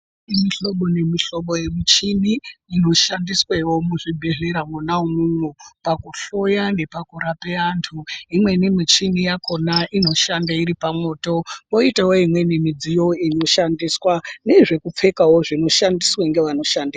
Mihlobo nemihlobo yemichina inoshandiswa muzvibhedhleya mwona imwomwo pakuhloya nepakurapa antu. Imweni michini yachona inoshanda iri pamwoto, koitawo imweni midziyo inoshandiswa nezvekupfekawo zvinoshandiswa ngevanoshanda